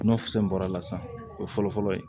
Nɔ fisɛn bɔra a la sisan o ye fɔlɔ fɔlɔ ye